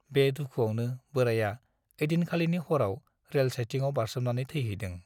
बे दुखुआवनो बोराइया ऐदिनखालिनि हराव रेल साइटिंआव बारसोमनानै थैहैदों ।